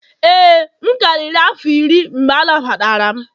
ee, m karịrị afọ iri mgbe anagbatara m.